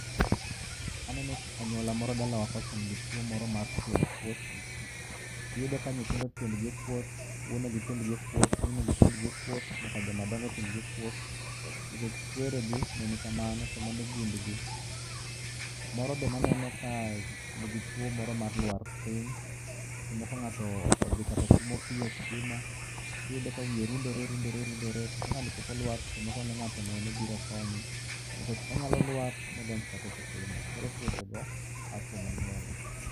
Aneno anyuola moro dalawa kocha nigituo ,moro mar tielo kuot. Iyudo ka nyithindo tiendgi okuot, wuonegi tiend gi okuot, minegi tiendgi okuot, nyaka joma dongo tiengi okuot nikech kweregi ne nikamano to mano gundgi. Moro bende aneno ka nigi tuo mor mar lwar piny. Seche moko ng'ato odhi kata tuomo pi e kisima, tiyudo ka wiye rundore, rundore, rundore, to ka ng'ani pok olwar seche moko ng'ato onene biro konye. Bende onyalo lwar modonj kata e kisima koro tuochego a kuom anyuola.